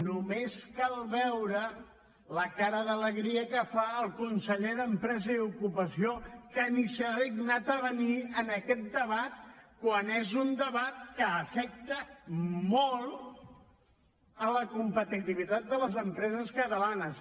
només cal veure la cara d’alegria que fa el conseller d’empresa i ocupació que ni s’ha dignat a venir en aquest debat quan és un debat que afecta molt la competitivitat de les empreses catalanes